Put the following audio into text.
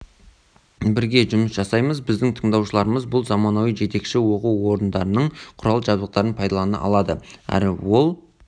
бірге жұмыс жасаймыз біздің тыңдаушыларымыз бұл заманауи жетекші оқу орындарының құрал-жабдықтарын пайдалана алады әрі ол